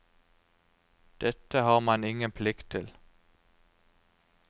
Dette har man ingen plikt til.